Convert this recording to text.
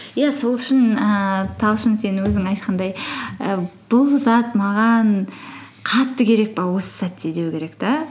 иә сол үшін ііі талшын сен өзің айтқандай і бұл зат маған қатты керек пе осы сәтте деу керек те